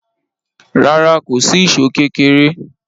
Rárá, kò sí ìṣó kékéré.